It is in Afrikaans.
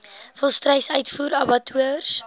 volstruis uitvoer abattoirs